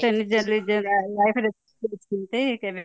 ସମସ୍ତେ ନିଜ ନିଜର life ରେ ଚଳଉଛନ୍ତି